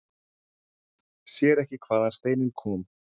Sér ekki hvaðan steinninn kom.